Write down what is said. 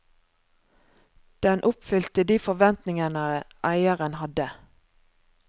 Den oppfylte de forventningene eieren hadde.